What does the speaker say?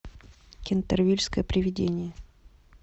кентервильское привидение